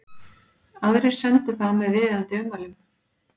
Aðrir sendu það með viðeigandi ummælum.